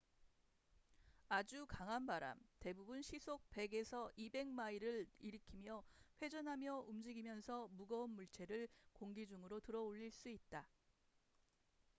아주 강한 바람대부분 시속 100~200마일을 일으키며 회전하며 움직이면서 무거운 물체를 공기 중으로 들어 올릴 수 있다